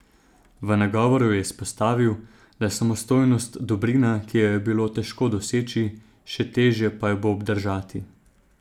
V nagovoru je izpostavil, da je samostojnost dobrina, ki jo je bilo težko doseči, še težje pa jo bo obdržati.